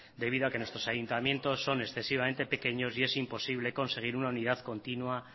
debido a que nuestros ayuntamientos son excesivamente pequeños y es imposible conseguir una unidad continua